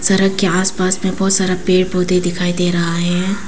सड़क के आस पास मे बहोत सारा पेड़ पौधे दिखाई दे रहा है।